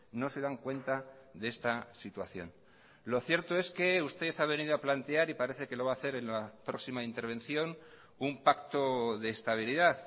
no se dan cuenta de esta situación lo cierto es que usted ha venido a plantear y parece que lo va a hacer en la próxima intervención un pacto de estabilidad